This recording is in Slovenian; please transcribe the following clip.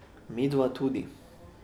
Midva tudi.